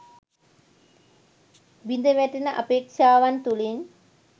බිඳවැටෙන අපේක්‍ෂාවන් තුළින්